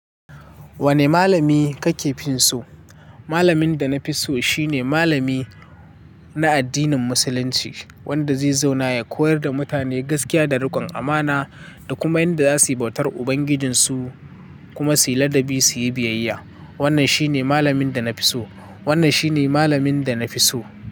Wane malami kake finso? Malamin da na fi so shine malami na addinin Musulunci, wanda zai zauna ya koyar da mutane gaskiya da rikon amana da kuma yanda za su bautar ubangijinsu kuma suyi ladabi su yi biyayya. Wannan shine malamin da na fi so. Wannan shine malamin da na fi so.